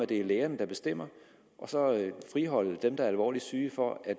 det er lægerne der bestemmer og så friholde dem der er alvorligt syge for at